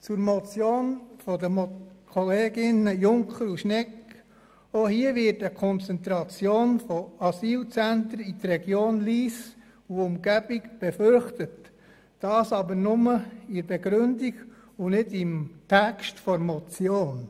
Zu der Motion der Kolleginnen Junker und Schnegg: Auch hier wird eine Konzentration von Asylzentren in der Region Lyss und Umgebung befürchtet, dies aber nur in der Begründung und nicht im eigentlichen Text der Motion.